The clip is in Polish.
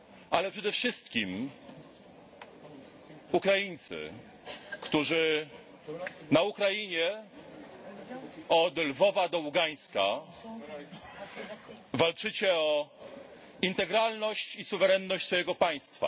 Ale przede wszystkim Ukraińcy, którzy na Ukrainie, od Lwowa do Ługańska walczycie o integralność i suwerenność swojego państwa!